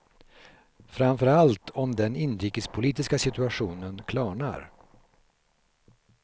Framför allt om den inrikespolitiska situationen klarnar.